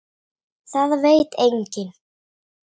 Það veit enginn